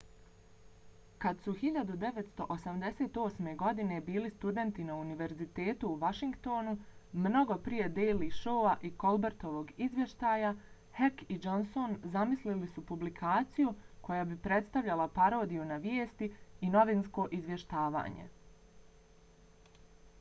kad su 1988. godine bili studenti na univerzitetu u washingtonu mnogo prije daily showa i colbertovog izvještaja heck i johnson zamislili su publikaciju koja bi predstavljala parodiju na vijesti—i novinsko izvještavanje